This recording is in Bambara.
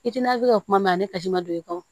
I tina ka kuma mɛn a ne ka ji ma don i kun